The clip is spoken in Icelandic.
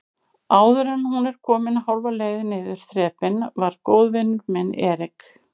Áðuren hún var komin hálfa leið niður þrepin var góðvinur minn Erik